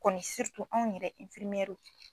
Kɔni anw yɛrɛ infirmɛri.